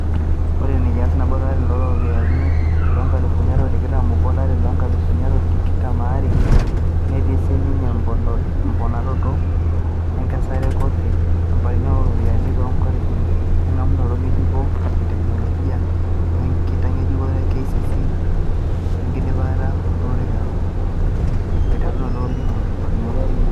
Ore ina kias nabo lolari looropiyiani loonkalifuni are o tikitam obo o lari loonkalifuni are o tikitam are (2021/2022) netii sininye emponaroto e nkesare e kofii, eponaroto oropiyani oo ntokitin engamunoto ngejuko e teknoloji, wenkitangejuk e KCC bg'ejuk wenkidipa e orekiai weutaroto olningo (CMIS).